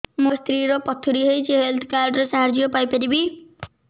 ମୋ ସ୍ତ୍ରୀ ର ପଥୁରୀ ହେଇଚି ହେଲ୍ଥ କାର୍ଡ ର ସାହାଯ୍ୟ ପାଇପାରିବି